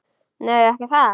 Nei, ekki það.